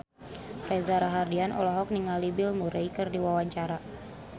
Reza Rahardian olohok ningali Bill Murray keur diwawancara